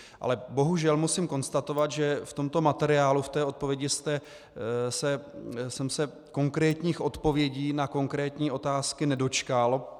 Ale bohužel musím konstatovat, že v tomto materiálu, v té odpovědi jsem se konkrétních odpovědí na konkrétní otázky nedočkal.